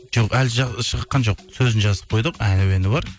жоқ әлі шыққан жоқ сөзін жазып қойдық ән әуені бар